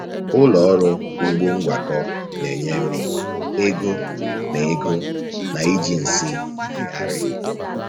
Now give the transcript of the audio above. Ụlọ ọrụ ugbo ngwakọ na-enye nri, ego, na ego, na iji nsị meeghari.